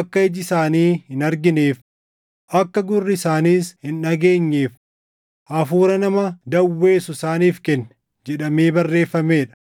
akka iji isaanii hin argineef, akka gurri isaaniis hin dhageenyeef, hafuura nama dawweessu isaaniif kenne” + 11:8 \+xt KeD 29:4; Isa 29:10\+xt* jedhamee barreeffamee dha.